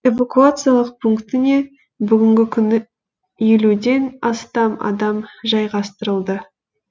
эвакуациялық пунктіне бүгінгі күні елуден астам адам жайғастырылды